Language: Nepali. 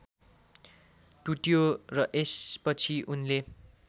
टुट्यो र यसपछि उनले